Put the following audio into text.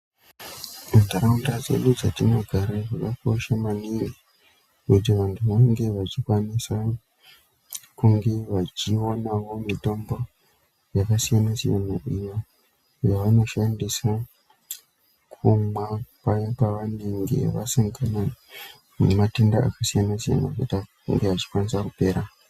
Muntaraunda dzedu dzatinogara zvakakosha maningi kuti vantu vange vachikwanisa kunge vachionawo mitombo yakasiyana -siyana iyo yavanoshandisa kumwa paya pavanenge vasangana nematenda akasiyana -siyana kuti ange achikwanisa kupera.